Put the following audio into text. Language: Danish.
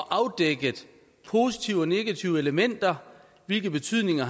afdækket positive og negative elementer og hvilke betydninger